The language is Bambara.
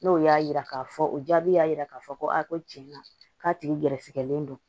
N'o y'a yira k'a fɔ o jaabi y'a jira k'a fɔ ko a ko tiɲɛ na k'a tigi gɛrɛsɛgɛlen don